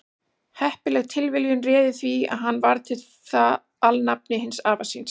heppileg tilviljun réði því að hann varð við það alnafni hins afa síns